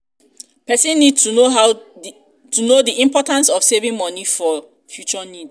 person need to know di importance of saving money for um future needs